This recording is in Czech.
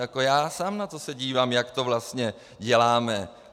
Jako já sám se na to dívám, jak to vlastně děláme.